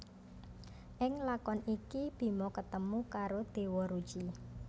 Ing lakon iki Bima ketemu karo Déwa Ruci